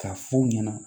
K'a f'u ɲɛna